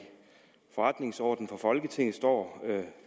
forretningsordenen for folketinget står